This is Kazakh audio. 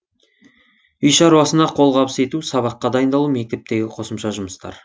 үй шаруасына қолғабыс ету сабаққа дайындалу мектептегі қосымша жұмыстар